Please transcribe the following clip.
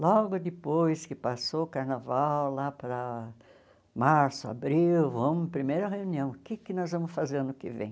Logo depois que passou o carnaval, lá para março, abril, vamos, primeira reunião, o que que nós vamos fazer ano que vem?